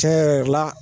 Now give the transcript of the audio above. Tiɲɛ yɛrɛ yɛrɛ la